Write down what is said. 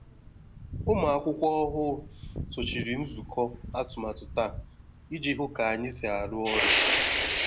Ụmụakwụkwọ ọhụụ sochiri nzukọ atụmatụ taa iji hụ ka anyị si arụ ọrụ.